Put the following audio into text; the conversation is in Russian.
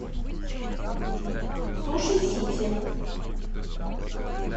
суши сити